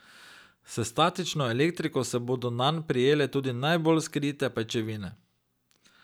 S statično elektriko se bodo nanj prijele tudi najbolj skrite pajčevine.